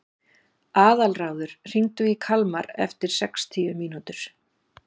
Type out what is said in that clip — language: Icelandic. Aðalráður, hringdu í Kalmar eftir sextíu mínútur.